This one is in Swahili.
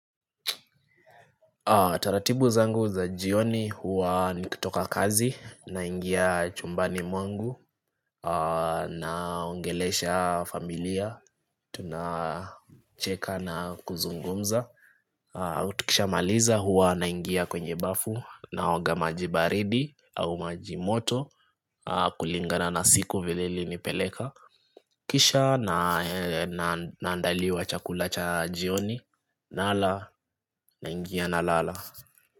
Taratibu zangu za jioni huwa nikitoka kazi na ingia chumbani mwangu na ongelesha familia tunacheka na kuzungumza tukisha maliza huwa na ingia kwenye bafu na oga majibaridi au majimoto kulingana na siku vileli nipeleka Kisha na andaliwa chakula cha jioni na ala na ingia na lala.